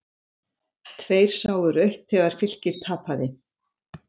Tveir sáu rautt þegar Fylkir tapaði